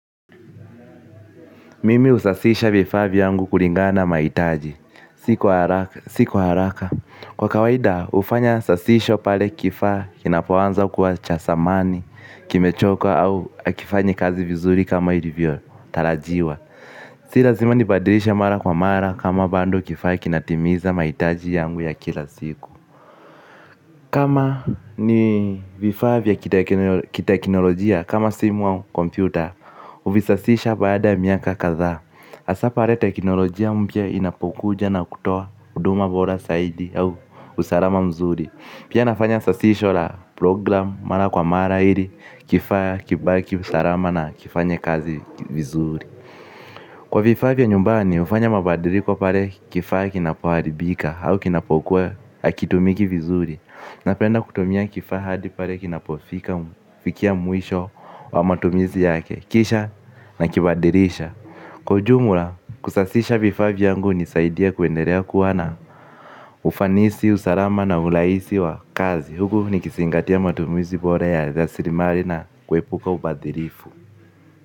Mimi husasisha vifaa viyangu kulingana na mahitaji. Si kwa haraka. Kwa kawaida hufanya sasisho pale kifaa kinapoanza kuwa cha zamani, kimechoka au hakifanyi kazi vizuri kama ilivyotarajiwa. Si lazima nibadilishe mara kwa mara kama bado kifaa kinatimiza mahitaji yangu ya kila siku. Kama ni vifaa vya kiteknolojia kama simu au kompyuta, huvisasisha baada ya miaka kadhaa. Hasa pale teknolojia mpya inapokuja na kutoa huduma bora zaidi au usalama mzuri. Pia nafanya sasisho la program mara kwa mara ili kifaa kibaki salama na kifanye kazi vizuri. Kwa vifaa vya nyumbani, hufanya mabadiliko pale kifaa kinapoharibika au kinapokuwa hakitumiki vizuri. Napenda kutumia kifaa hadi pale kinapofikia mwisho wa matumizi yake, kisha nakibadilisha. Kwa ujumula, kusasisha vifaa vyangu hunisaidia kuendelea kuwa na ufanisi, usalama na urahisi wa kazi huku nikizingatia matumizi bora ya rasilimali na kuepuka ubadilifu.